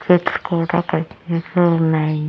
Specs కూడా కనిపిస్తూ ఉన్నాయి.